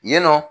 Yen nɔ